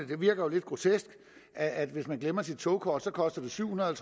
det virker lidt grotesk at hvis man glemmer sit togkort koster det syv hundrede og